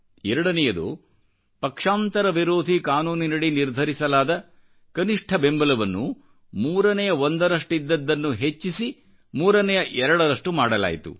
ಎರಡನೆಯದು ಪಕ್ಷಾಂತರ ವಿರೋಧಿ ಕಾನೂನಿನ ಅಡಿ ನಿರ್ಧರಿಸಲಾದ ಕನಿಷ್ಠ ಬೆಂಬಲವನ್ನು ಮೂರನೆಯ ಒಂದರಷ್ಟಿದ್ದದ್ದನ್ನು ಹೆಚ್ಚಿಸಿ ಮೂರನೆಯಎರಡರಷ್ಟು ಮಾಡಲಾಯಿತು